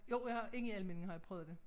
Jo jeg har inde i Almindinge har jeg prøvet det